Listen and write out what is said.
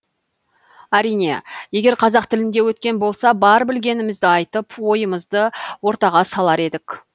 әрине егер қазақ тілінде өткен болса бар білгенімізді айтып ойымызды ортаға салар едік